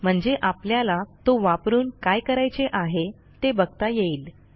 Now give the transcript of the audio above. म्हणजे आपल्याला तो वापरून काय करायचे आहे ते बघता येईल